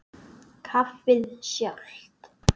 Kaffið sjálft.